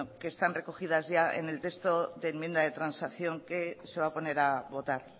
que están recogidas ya en el texto de enmienda de transacción que se va a poner a votar